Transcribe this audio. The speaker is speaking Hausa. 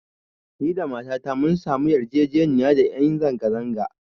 Da ni da matata mun samu yin yarjejeniya da ƴan zanga-zanga